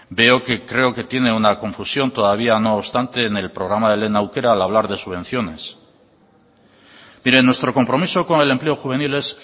veo que creo que tiene una confusión todavía no obstante en el programa lehen aukera al hablar de subvenciones mire nuestro compromiso con el empleo juvenil es